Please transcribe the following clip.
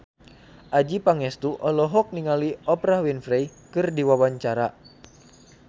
Adjie Pangestu olohok ningali Oprah Winfrey keur diwawancara